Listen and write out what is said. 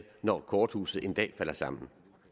når korthuset en dag falder sammen